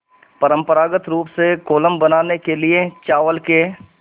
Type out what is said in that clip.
परम्परागत रूप से कोलम बनाने के लिए चावल के